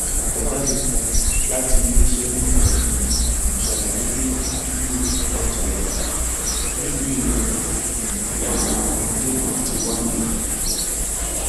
àtẹjáde kan láti iléeṣẹ náà um ṣàlàyé pé àdúgbò ọjà ìyá nílùú ìlọrin um ni ọmọdé náà ti wá